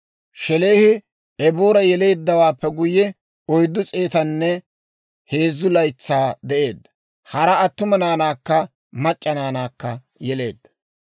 Shelaahi Eboora yeleeddawaappe guyye, 403 laytsaa de'eedda; hara attuma naanaakka mac'c'a naanaakka yeleedda.